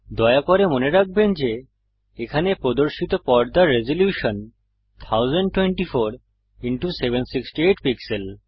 দয়া করে মনে রাখবেন যে এখানে প্রদর্শিত পর্দার রেজল্যুশন 1024768 পিক্সেল